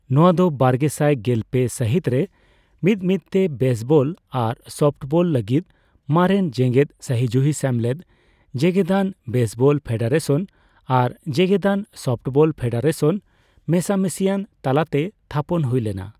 ᱱᱚᱣᱟ ᱫᱚ ᱵᱟᱨᱜᱮᱥᱟᱭ ᱜᱮᱞᱯᱮ ᱥᱟᱹᱦᱤᱛ ᱨᱮ ᱢᱤᱫᱢᱤᱫᱛᱮ ᱵᱮᱥᱵᱚᱞ ᱟᱨ ᱥᱚᱯᱷᱴᱵᱚᱞ ᱞᱟᱹᱜᱤᱛ ᱢᱟᱨᱮᱱ ᱡᱮᱜᱮᱫ ᱥᱟᱹᱦᱤᱡᱩᱦᱤ ᱥᱮᱢᱞᱮᱫ, ᱡᱮᱜᱮᱫᱟᱱ ᱵᱮᱥᱵᱚᱞ ᱯᱷᱮᱰᱟᱨᱮᱥᱚᱱ ᱟᱨ ᱡᱮᱜᱮᱫᱟᱱ ᱥᱚᱯᱷᱴᱵᱚᱞ ᱯᱷᱮᱰᱟᱨᱮᱥᱚᱱ ᱢᱮᱥᱟᱢᱤᱥᱤᱭᱟᱱ ᱛᱟᱞᱟᱛᱮ ᱛᱷᱟᱯᱚᱱ ᱦᱩᱭ ᱞᱮᱱᱟ ᱾